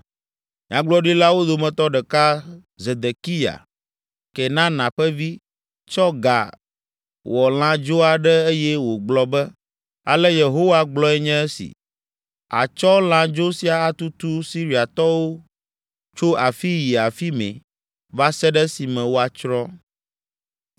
Nyagblɔɖilawo dometɔ ɖeka, Zedekiya, Kenana ƒe vi, tsɔ ga wɔ lãdzo aɖe eye wògblɔ be, Ale Yehowa gblɔe nye esi, “Àtsɔ lãdzo sia atutu Siriatɔwo tso afii yi afi mɛ va se ɖe esime woatsrɔ̃.”